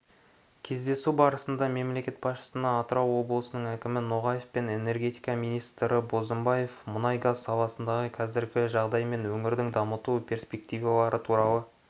кездесу барысында мемлекет басшысына атырау облысының әкімі ноғаев пен энергетика министрі бозымбаев мұнай-газ саласындағы қазіргі жағдай мен өңірді дамыту перспективалары туралы